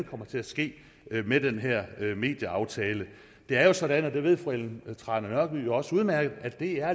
kommer til at ske med den her medieaftale det er jo sådan og det ved fru ellen trane nørby også udmærket at dr